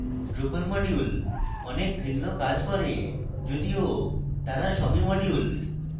drupal modules অনেক ভিন্ন কাজ করে যদিও তারা সবই modules